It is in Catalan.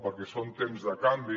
perquè són temps de canvi